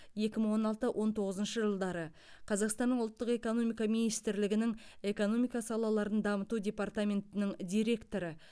екі мың он алты он тоғызыншы жылдары қазақстан ұлттық экономика министрлігінің экономика салаларын дамыту департаментінің директоры